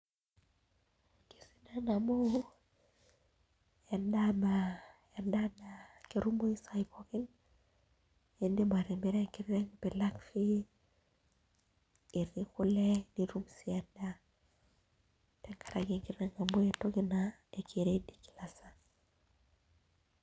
Kesidan amu endaa na ketumoyu isaai pookin iidim atimira enkiteng' pee ilak fee etii kule tenkaraki enkiteng' naa keready kila saa.